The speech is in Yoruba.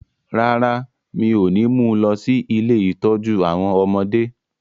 Rárá, mi ò ní mú lọ sí “ilé ìtọ́jú àwọn ọmọdé ”